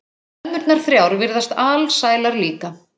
Ömmurnar þrjár virðast alsælar líka.